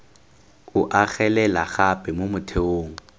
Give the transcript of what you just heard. o agelela gape mo motheong